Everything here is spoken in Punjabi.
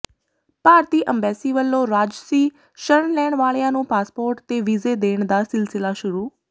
ਭਾਰਤੀ ਅੰਬੈਸੀ ਵੱਲੋਂ ਰਾਜਸੀ ਸ਼ਰਨ ਲੈਣ ਵਾਲਿਆਂ ਨੂੰ ਪਾਸਪੋਰਟ ਤੇ ਵੀਜ਼ੇ ਦੇਣ ਦਾ ਸਿਲਸਿਲਾ ਸ਼ੁਰੂ